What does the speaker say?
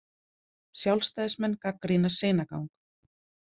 Sjálfstæðismenn gagnrýna seinagang